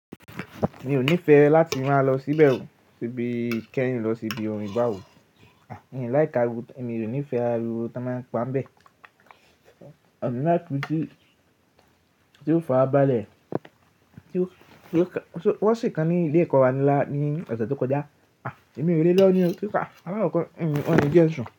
Mi ò nífẹẹ láti máa lọ síbẹ̀ oo, ṣe bí kẹ́rì lọ sí ibi orin báwo. Ẹ̀yin láì ka ru, èmi ò nífẹẹ ariwo tí wọ́n máa ń pa bẹ́ẹ̀. Ọ̀gbẹ́ná ìpè tí ó farabalẹ̀, tí wọ́n ṣe kan ní ilé ẹ̀kọ́ wa ní ọ̀sẹ̀ tó kọjá. Èmi ò le lọ́ ní o, alákọ́kọ́ won ni jẹ̀ sùn.